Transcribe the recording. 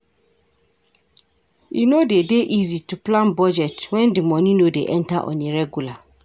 E no de dey easy to plan budget when di money no dey enter on a regular